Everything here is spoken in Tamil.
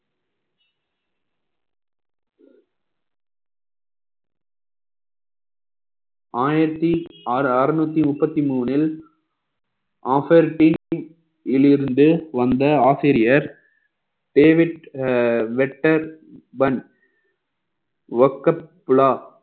ஆயிரத்தி ஆறு~ அறுநூத்தி முப்பத்தி மூணில் offer team ல் இருந்து வந்த ஆசிரியர் David ah vector one workup plaw